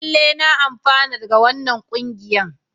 Lallai na amfana da wannan kungiyan.